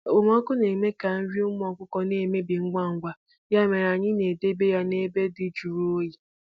Okpomọkụ na-eme ka nri ụmụ ọkụkọ na-emebi ngwa ngwa, ya mere anyị na-edobe ya n’ebe dị jụrụ oyi